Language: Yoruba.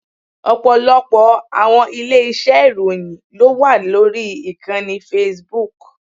Ọ̀pọ̀lọpọ̀ àwọn ilé iṣẹ́ ìròyìn ló wà lórí ìkànnì Facebook.